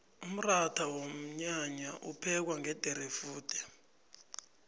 umratha wonyanya uphekwa ngederefude